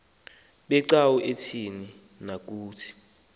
becawa ukuze kuthini